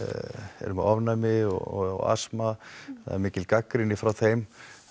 eru með ofnæmi og asma það er mikil gagnrýni frá þeim